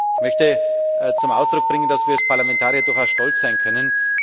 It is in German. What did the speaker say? Ich möchte zum Ausdruck bringen, dass wir als Parlamentarier durchaus stolz sein können.